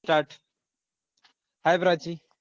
start hi Prachi